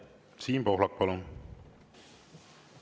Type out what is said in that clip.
Siim Pohlak, palun!